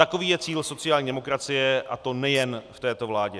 Takový je cíl sociální demokracie, a to nejen v této vládě.